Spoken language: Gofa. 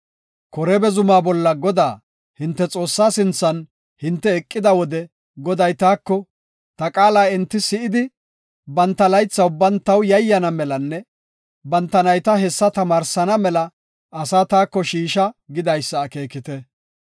Koreeba zumaa bolla Godaa, hinte Xoossaa sinthan hinte eqida wode Goday taako, “Ta qaala enti si7idi, banta laytha ubban taw yayyana melanne banta nayta hessa tamaarsana mela asaa taako shiisha” gidaysa akeekite.